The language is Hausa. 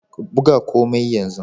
Buga komai yanzu